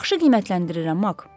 Yaxşı qiymətləndirirəm, Mak.